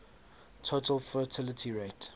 total fertility rate